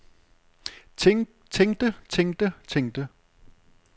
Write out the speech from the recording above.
tænkte tænkte tænkte